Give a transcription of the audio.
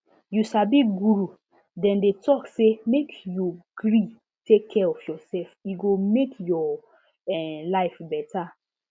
you sabi guru dem dey talk say make you gree take care of yourself e go make your um life better